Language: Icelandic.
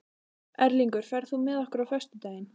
Erlingur, ferð þú með okkur á föstudaginn?